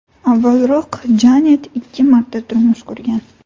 Avvalroq Janet ikki marta turmush qurgan.